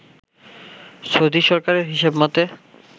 Saudi সরকারের হিসেব মতে